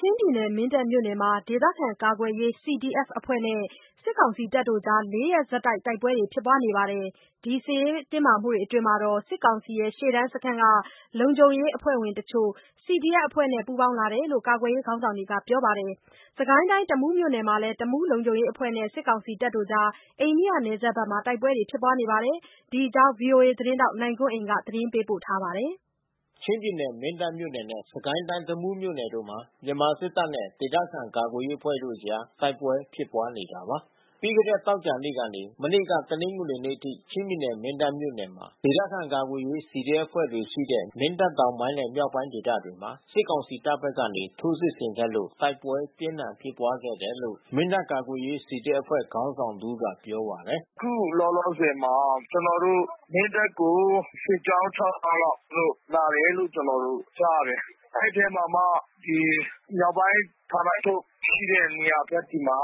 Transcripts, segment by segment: ချင်းပြည်နယ်၊ မင်းတပ်မြို့နယ်မှာ ဒေသခံကာကွယ်ရေး CDF အဖွဲ့နဲ့ စစ်ကောင်စီတို့အကြား (၄) ရက်ဆက်တိုက်ပွဲဖြစ်ပွားနေသလို စစ်ရေးတင်းမာမှုအတွင်း စစ်ကောင်စီရှေ့တန်းစခန်းက လုံခြုံရေးအဖွဲ့ဝင်တချို့ CDF အဖွဲ့နဲ့ပူးပေါင်းလာတယ်လို့ ကာကွယ်ရေး ခေါင်းဆောင်တွေကပြောပါတယ်။ စစ်ကိုင်းတိုင်းတမူးမြို့နယ်မှာလည်း တမူးလုံခြုံရေးအဖွဲ့တွေနဲ့ စစ်ကောင်စီတပ်တို့အကြား အိန္ဒိယနယ်စပ်မှာ တိုက်ပွဲဖြစ်ပွါးခဲ့ပါတယ်။ ဒီအကြောင်း ဗွီအိုအေသတင်းထောက်နိုင်ကွန်းအိန်ကနေ ဆက်သွယ်မေးမြန်း သတင်းပေးပို့ ထားပါတယ်။ ချင်းပြည်နယ်၊ မင်းတပ်မြို့နယ်နဲ့ စစ်ကိုင်းတိုင်းတမူးမြို့နယ်မှာ မြန်မာစစ်တပ်နဲ့ ဒေသခံကာကွယ်ရေးအဖွဲ့တို့အကြား တိုက်ပွဲဖြစ်ပွါးနေတာပါ။ ပြီးခဲ့တဲ့ သောကြာနေ့ကနေ မနေ့ကတနင်္ဂနွေနေ့အထိ ချင်းပြည်နယ် မင်းတပ်မြို့ နယ်မှာ ဒေသခံကာကွယ်ရေးCDFအဖွဲ့တွေရှိတဲ့ မင်းတပ်တောင်ပိုင်းနဲ့မြောက်ပိုင်းဒေသတွေမှာ စစ်ကောင်စီတပ်ဘက်ကနေ ထိုးစစ်ဆင်ခဲ့လို့ တိုက်ပွဲပြင်းထန်ဖြစ် ပွားခဲ့တယ်လို့ မင်းတပ်ကာကွယ်ရေး CDF အဖွဲ့ခေါင်းဆောင်တဦးက ပြောပါတယ်။ “အခုလောလောဆယ်မှာ ကျနော်တို့ မင်းတပ်ကို စစ်ကြောင်း (၆) ကြောင်း လောက် သူတို့လာတယ်လို့ ကြားရတယ်။ အဲဒီအထဲမှာမှ မြောက်ပိုင်းဌာနချုပ်ရှိတဲ့နေရာဘက်ဆီမှာ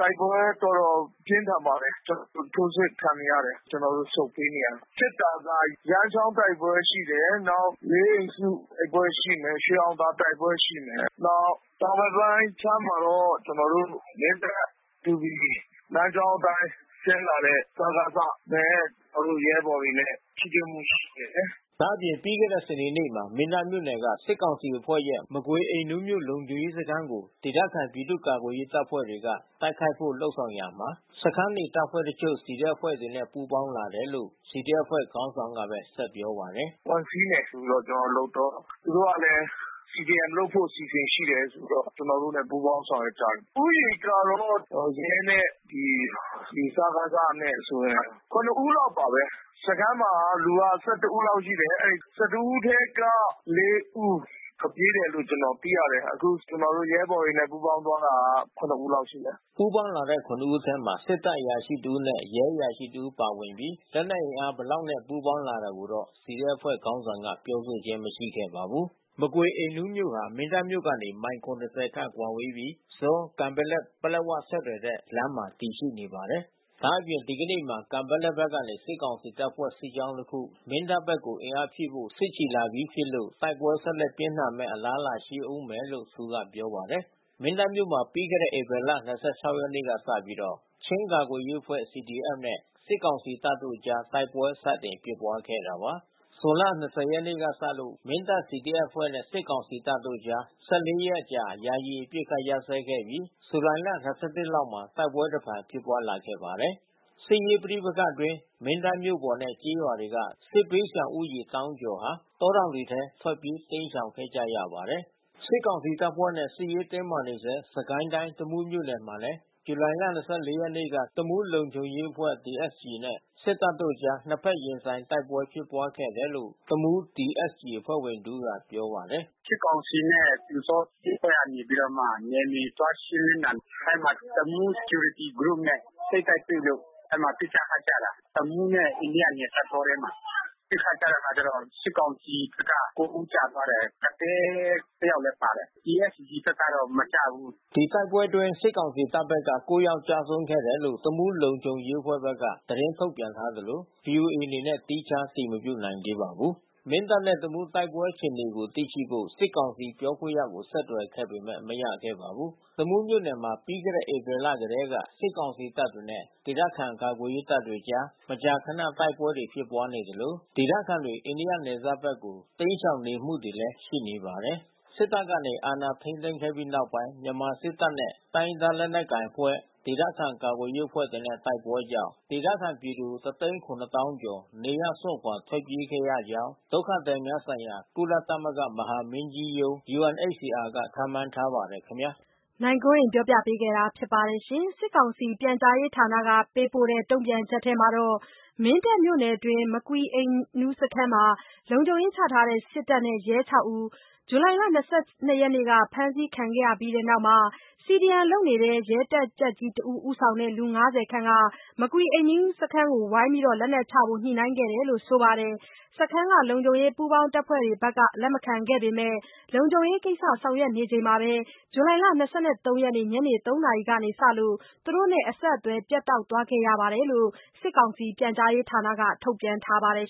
တိုက်ပွဲတော်တော်ပြင်းထန်ပါတယ်။ ကျနော်တို့ ထိုးစစ်ခံနေရတယ်။ ဆုတ်ပေးနေရတယ်။ ဖြစ်တာက ရန်းချောင်းတိုက်ပွဲရှိတယ်။ လေးအိမ်စုတိုက်ပွဲရှိမယ်။ ရွှေအောင်သာတိုက်ပွဲရှိမယ်။ နောက်တောင်ဘက်ပိုင်းခြမ်းမှာတော့ မင်းတပ် မတူပီ လမ်းကြောင်းအတိုင်း ဆင်းလာတဲ့စကစ (စစ်ကောင်စီ) နဲ့ ကျနော်တို့ရဲဘော်တွေနဲ့ထိတွေ့မှုရှိတယ်။” ဒါ့အပြင် ပြီးခဲ့တဲ့စနေနေ့မှာ မင်းတပ်မြို့နယ်က စစ်ကောင်စီအဖွဲ့ရဲ့ မကွေအိမ်နူးမြို့လုံခြုံရေးစခန်းကို ဒေသခံပြည်သူ့ကာကွယ်ရေး တပ်ဖွဲ့တွေက တိုက်ခိုက်ဖို့လုပ်ဆောင်ရာမှာ စခန်းနေတပ်ဖွဲ့တချို့ CDF အဖွဲ့တွေနဲ့ပူးပေါင်းလာတယ်လို့ CDF အဖွဲ့ ခေါင်းဆောင်ကပဲ ဆက်ပြောပါတယ်။ “ဝင်စီးမယ်ဆိုပြီးလုပ်တော့ သူတို့ကလည်း CDM လုပ်ဖို့အစီစဉ်ရှိတယ်ဆိုပြီးတော့ ကျနော်တို့နဲ့ပူးပေါင်း ဆောင်ရွက်ကြတယ်။ ရဲနဲ့ဒီစကစနဲ့ဆိုရင် (၇) ဦးလောက်ပါပဲ။ စခမ်းမှာလူက (၁၁) ဦးလောက်ရှိတယ်။ (၁၁) ဦးထဲက (၄) ဦး ထွက်ပြေးတယ်လို့ ကျနော်တို့သိရတယ်။ အခု ကျနော်တို့ရဲဘော်တွေနဲ့ပူးပေါင်းသွားတာက (၇) ဦးလောက်ရှိတယ်။ ” ပူးပေါင်းလာတဲ့ (၇) ဦးအထဲ စစ်တပ်အရာရှိတဦးနဲ့ရဲအရာရှိတဦးပါဝင်ပြီး လက်နက် အင်အားဘယ်လောက်နဲ့ ပူးပေါင်းလာတာကိုတော့ CDF အဖွဲ့ ခေါင်းဆောင်ကပြောဆိုခြင်းမရှိခဲ့ပါဘူး။ မကွေအိမ်နူးမြို့ဟာ မင်းတပ်မြို့ကနေ မိုင် ၇၀ ခန့်ကွာဝေးပြီး ဆော-ကန်ပက်လက်-ပလက်ဝ ဆက်သွယ်တဲ့လမ်းပေါ် မှာတည်ရှိပါတယ်။ ဒါ့အပြင် ဒီကနေ့မှာ ကန်ပက်လက်ဘက်ကနေ စစ်ကောင်စီတပ်ဖွဲ့ စစ်ကြောင်းတခု မင်းတပ်ဘက်ကို အင်အားဖြည့်ဖို့စစ်ချီလာပြီးဖြစ်လို့ တိုက်ပွဲ ဆက်လက်ပြင်းထန်မယ့် အလားလာရှိဦးမယ်လို့သူကပြောပါတယ်။ မင်းတပ်မြို့မှာ ပြီးခဲ့တဲ့ဧပြီလ ၂၆ ရက်နေ့လောက်ကစပြီး ချင်းကာကွယ်ရေးအဖွဲ့ (CDF) နဲ့ စစ်ကောင်စီတပ်တို့အကြား တိုက်ပွဲတွေစတင်ဖြစ်ပွားခဲ့တာပါ။ ဇွန်လ ၂၀ ရက်နေ့ကစလို့ မင်းတပ် CDF အဖွဲ့နဲ့စစ်ကောင်စီတပ်တို့ကြား (၁၄) ရက်အကြာ ယာယီအပစ်ခတ်ရပ်စဲခဲ့ပြီး ဇူလိုင် (၂၁) လောက်မှာ တိုက်ပွဲတဖန်ဖြစ်ပွါးလာခဲ့ပါတယ်။ စစ်ရေးပဋိပက္ခအတွင်း မင်းတပ် မြို့ပေါ်နဲ့ကျေးရွာတွေက စစ်ဘေးရှောင်ဦးရေသောင်းကျော်ဟာ တောတောင်တွေထဲကို ထွက်ပြေးတိမ်းရှောင်ခဲ့ကြရပါတယ်။ စစ်ကောင်စီတပ်ဖွဲ့နဲ့စစ်ရေးတင်းမာနေဆဲ စစ်ကိုင်းတိုင်းတမူးမြို့နယ်မှာလည်း ဇူလိုင် ၂၄ ရက်က တမူးလုံခြုံရေးအဖွဲ့ (TSG) နဲ့စစ်တပ်အကြား နှစ်ဖက် ရင်ဆိုင်တိုက်ပွဲ ဖြစ်ပွါးခဲ့တယ်လို့ တမူး TSG အဖွဲ့ဝင်တဦးကပြောပါတယ်။ “စစ်ကောင်စီနဲ့ပျူစောထီးတို့ကနေပြီးတော့မှ နယ်မြေသွားရှင်းတာ အဲဒီမှာတမူး Security Groupsနဲ့ ထိတ်တိုက်တွေ့လို့ အဲဒီမှာပစ်ခတ်ကြတာ။ တမူးနဲ့အိန္ဒိယ တောထဲမှာ။ ပစ်ခတ်ကြတဲ့အခါကျတော့ စစ်ကောင်စီဘက်က (၉) ဦးကျသွားတယ်။ ကသည်းတယောက်လည်း ပါတယ်။ TSG ဘက်ကတော့မကျဘူး။” ဒီတိုက်ပွဲအတွင်း စစ်ကောင်စီတပ်ဘက်က ၉ ယောက် ကျဆုံးခဲ့တယ်လို့ တမူးလုံခြုံရေးအဖွဲ့ (TSG) က သတင်းထုတ်ပြန်ထားပြီး ဗွီအိုအေအနေနဲ့သီးခြားအတည်မပြုနိုင်သေးပါဘူး။ မင်းတပ်နဲ့တမူးတိုက်ပွဲအခြေအနေကိုသိရှိဖို့ စစ်ကောင်စီပြောခွင့်ရကိုဆက်သွယ်ခဲ့ပေမဲ့မရခဲ့ပါဘူး။ တမူးမြို့နယ်မှာ ပြီးခဲ့တဲ့ဧပြီလကတည်းက စစ်ကောင်စီတပ်တွေနဲ့ ဒေသကာကွယ်ရေးတပ်တွေကြား မကြာခဏ တိုက်ပွဲတွေ ဖြစ်ပွားနေသလို ဒေသခံတွေ အိန္ဒိယနယ်စပ်ဘက်က တိမ်းရှောင်နေမှုတွေလည်း ရှိနေပါတယ်။ စစ်တပ်ကနေ အာဏာထိန်းသိမ်းခဲ့ပြီးနောက်ပိုင်းမြန်မာစစ်တပ်နဲ့ တိုင်းရင်းသားလက်နက်ကိုင်အဖွဲ့ ဒေသခံကာကွယ်ရေးအဖွဲ့တွေနဲ့တိုက်ပွဲကြောင့် ဒေသခံပြည်သူ (၁၇၀,၀၀၀)ကျော်နေရပ်စွန့်ခွာ ထွက်ပြေးခဲ့ရကြောင်းဒုက္ခသည်များဆိုင်ရာ ကုလသမဂ္ဂမဟာမင်းကြီးရုံး (UNHCR) က ခန့်မှန်းထားပါတယ်။ စစ်ကောင်စီပြန်ကြားရေးဌာနက ပေးပို့တဲ့ တုံ့ပြန်ချက်ထဲမှာတော့ မင်းတပ်မြို့နယ်တွင်း မကွီအိမ်နူးစခန်းမှာ လုံခြုံရေးနေတဲ့ စစ်တပ်နဲ့ရဲ ၆ ဦး ဇူလှိုင်လ ၂၂ ရက်နေ့က ဖမ်းဆီးခံရတဲ့နောက် CDM လုပ်နေတဲ့ရဲတပ်ကြပ်ကြီးတဦး ဦးဆောင်တဲ့ လူ ၅၀ ခန့် မကွီအိမ်နူးစခန်းကို ဝိုင်းပြီး လက်နက်ချဖို့ ညှိုနှိုင်းခဲ့တယ်လို့ ဆိုပါတယ်။ စခန်းက လုံခြုံရေးပူးပေါင်းတပ်ဖွဲ့တွေဘက်က လက်မခံခဲ့ပေမယ့် လုံခြုံရေးကိစ္စဆောင်ရွက်နေစဉ်မှာပဲ ဇူလှိုင် ၂၃ရက် ညနေ ၃ နာရီကစလို့ သူတို့နဲ့ အဆက်အသွယ်ပြတ်တောက်သွားခဲ့တယ်လို့ စစ်ကောင်စီပြန်ကြားရေးဌာနက ထုတ်ပြန်ထားပါတယ်